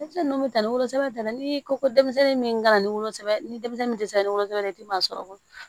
Denmisɛnninw bɛ taa ni wolosɛbɛn ta la ni ko ko denmisɛnnin min kana na ni wolosɛbɛn ni denmisɛnnu tɛ se ka ni wolosɛbɛn i tɛ maa sɔrɔ